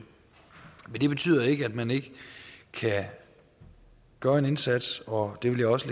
men det betyder ikke at man ikke kan gøre en indsats og det vil jeg også